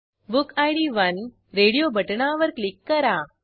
book id 1 radio बटणावर click करा